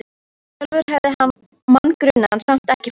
Sjálfur hafði hann mann grunaðan, samt ekki Forsetann.